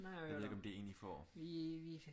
Jeg ved ikke om det er en I får